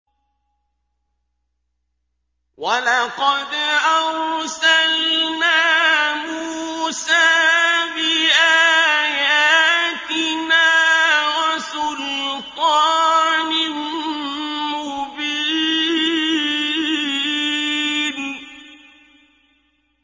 وَلَقَدْ أَرْسَلْنَا مُوسَىٰ بِآيَاتِنَا وَسُلْطَانٍ مُّبِينٍ